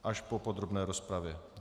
Až po podrobné rozpravě.